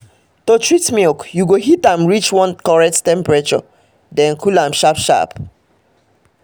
to treat milk you go heat am reach one correct temperature then cool am sharp sharp